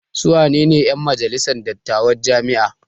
Su wanene 'yan majalisar dattawan jami'a?